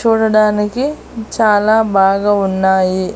చూడడానికి చాలా బాగా ఉన్నాయి.